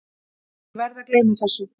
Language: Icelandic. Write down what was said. Ég verð að gleyma þessu.